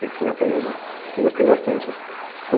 Sempre foi uma coisa que eu, que eu gostei bastante, assim.